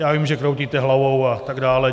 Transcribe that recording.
Já vím, že kroutíte hlavou a tak dále.